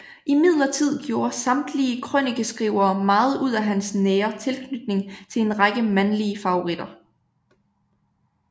Imidlertid gjorde samtidige krønikeskrivere meget ud af hans nære tilknytning til en række mandlige favoritter